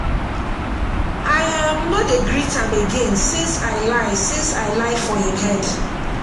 i um no dey greet am again since i lie since i lie for im head